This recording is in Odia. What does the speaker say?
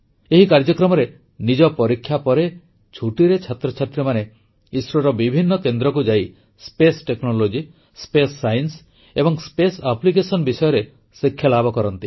ଏହି କାର୍ଯ୍ୟକ୍ରମରେ ନିଜ ପରୀକ୍ଷା ପରେ ଛୁଟିରେ ଛାତ୍ରଛାତ୍ରୀମାନେ ଇସ୍ରୋର ବିଭିନ୍ନ କେନ୍ଦ୍ରକୁ ଯାଇ ସ୍ପେସ୍ ଟେକ୍ନୋଲୋଜି ସ୍ପେସ୍ ସାଇନ୍ସ ଏବଂ ସ୍ପେସ୍ ଆପ୍ଲିକେଶନ୍ ବିଷୟରେ ଶିକ୍ଷାଲାଭ କରନ୍ତି